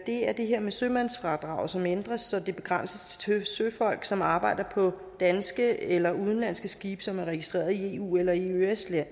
det er det her med sømandsfradraget som ændres så det begrænses til søfolk som arbejder på danske eller udenlandske skibe som er registreret i eu eller i eøs